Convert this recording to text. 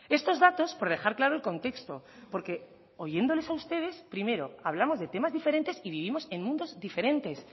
estos datos por dejar claro el contexto porque oyéndoles a ustedes primero hablamos de temas diferentes y vivimos en mundos diferentes